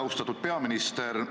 Austatud peaminister!